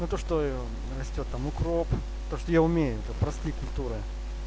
ну то что растёт там укроп то что я умею это простые культуры